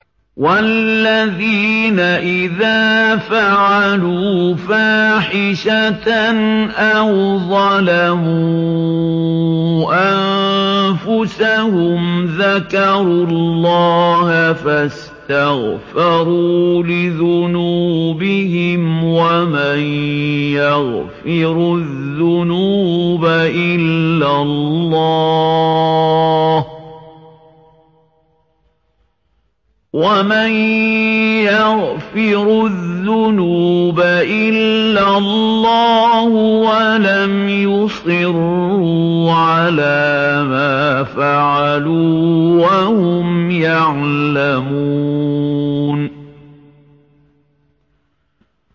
وَالَّذِينَ إِذَا فَعَلُوا فَاحِشَةً أَوْ ظَلَمُوا أَنفُسَهُمْ ذَكَرُوا اللَّهَ فَاسْتَغْفَرُوا لِذُنُوبِهِمْ وَمَن يَغْفِرُ الذُّنُوبَ إِلَّا اللَّهُ وَلَمْ يُصِرُّوا عَلَىٰ مَا فَعَلُوا وَهُمْ يَعْلَمُونَ